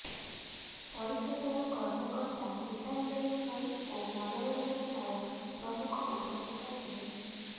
ପରିଷଦର କର୍ମକର୍ତା ଗୀତାଞ୍ଜଳି ସ୍ୱାଇଁ ଓ ମନୋରଞ୍ଜନ ନାୟକ ପ୍ରମୁଖ ଉପସ୍ଥିତ ଥିଲେ